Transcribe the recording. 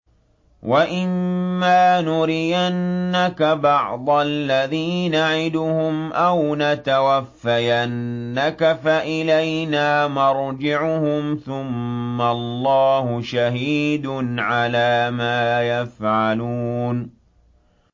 وَإِمَّا نُرِيَنَّكَ بَعْضَ الَّذِي نَعِدُهُمْ أَوْ نَتَوَفَّيَنَّكَ فَإِلَيْنَا مَرْجِعُهُمْ ثُمَّ اللَّهُ شَهِيدٌ عَلَىٰ مَا يَفْعَلُونَ